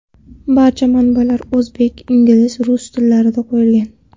Barcha manbalar o‘zbek, ingliz va rus tillarida qo‘yilgan.